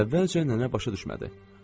Əvvəlcə nənə başa düşmədi.